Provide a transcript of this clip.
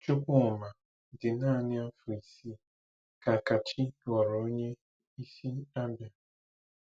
Chukwuma dị naanị afọ isii ka Kachi ghọrọ onye isi Abia.